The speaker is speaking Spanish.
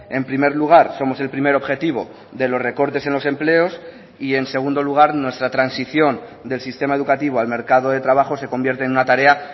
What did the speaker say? en primer lugar somos el primer objetivo de los recortes en los empleos y en segundo lugar nuestra transición del sistema educativo al mercado de trabajo se convierte en una tarea